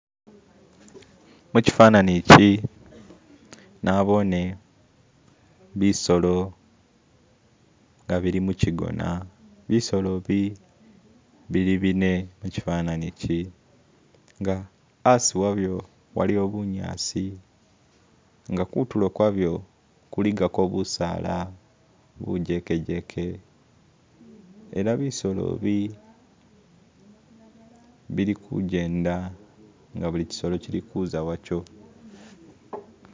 Mu kyifanani kyi naboone bisolo nga bili mu kyi gona, bisolo bi bili bine mu kyifanani kyi nga hasi wabyo waliwo bunyaasi nga kutulo kwabyo kuligako busaala bujekejeke ela bisolo bi bili kujenda nga buli kyisolo kyili kuza wacho.